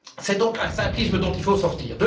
C'est donc un simplisme dont il faut sortir.